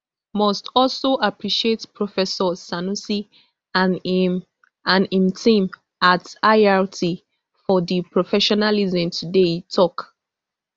must also appreciate professor sanusi and im and im team at irt for di professionalism today e tok